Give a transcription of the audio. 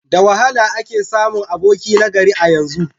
Da wahala ake samun aboki na gari a yanzu.